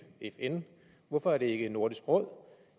fn hvorfor er det ikke et nordisk råd